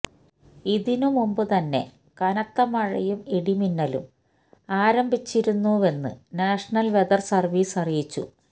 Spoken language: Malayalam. ഇതിനു മുമ്പു തന്നെ കനത്ത മഴയും ഇടിമിന്നലും ആരംഭിച്ചിരുന്നുവെന്ന് നാഷണല് വെതര് സര്വ്വീസ് അറിയിച്ചു